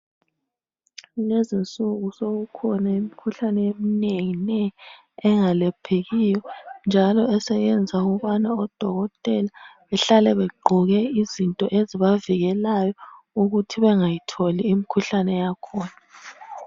Kulezinsuku sokukhona imikhuhlane eminenginengi engalaphekiyo njalo eseyenza ukubana odokotela behlale begqoke izinto ezibavikelayo ukuthi bengayitholi imikhuhlane yakhona.